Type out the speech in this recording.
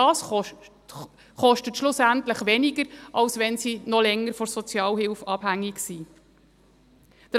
Das kostet schlussendlich weniger, als wenn sie noch länger von der Sozialhilfe abhängig sind.